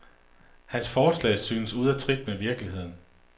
Hans forslag synes ude af trit med virkeligheden.